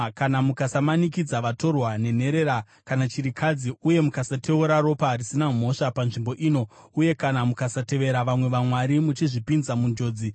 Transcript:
kana mukasamanikidza vatorwa, nenherera kana chirikadzi uye mukasateura ropa risina mhosva panzvimbo ino, uye kana mukasatevera vamwe vamwari muchizvipinza munjodzi,